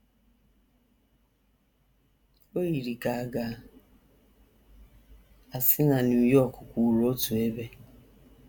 O yiri ka a ga - asị na New York kwụụrụ otu ebe.